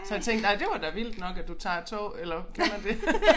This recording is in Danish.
Så jeg tænkte ej det var da vildt nok at du tager tog eller kan man det